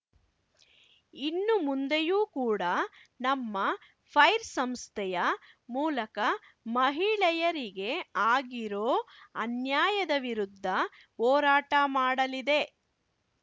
ಇನ್ನೂ ಮುಂದೆಯೂ ಕೂಡ ನಮ್ಮ ಫೈರ್‌ ಸಂಸ್ಥೆಯ ಮೂಲಕ ಮಹಿಳೆಯರಿಗೆ ಆಗಿರೋ ಅನ್ಯಾಯದ ವಿರುದ್ಧ ಹೋರಾಟ ಮಾಡಲಿದೆ